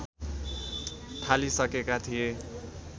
थालिसकेका थिए